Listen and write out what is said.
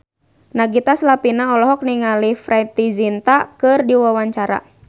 Nagita Slavina olohok ningali Preity Zinta keur diwawancara